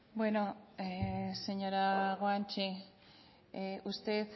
bueno señora guanche usted